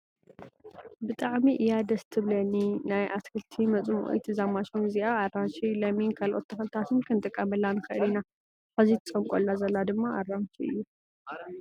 ብጣዕሚ እያ ደስ ትብለኒ ናይ ኣክትክልቲ መፅሞቋት እዛ ማሽን እዚኣ ኣራንሺ፣ ለሚን ካልኦት ተኽሊታትን ክንጥቀመላ ንክእል ኢና። ሕዚ ትፀምቆላ ዘላ ድማ ኣራንሺ እዩ ።